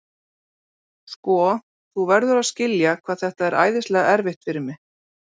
Sko, þú verður að skilja hvað þetta er æðislega erfitt fyrir mig.